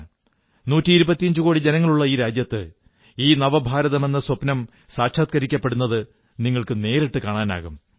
നൂറ്റിഇരുപത്തിയഞ്ചുകോടി ജനങ്ങളുള്ള ഈ രാജ്യത്ത് ഈ നവഭാരതമെന്ന സ്വപ്നം സാക്ഷാത്കരിക്കപ്പെടുന്നത് നിങ്ങൾക്കു നേരിട്ടു കാണാം